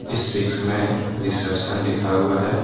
इस पिक्स में रिसेप्शन लिखा हुआ है।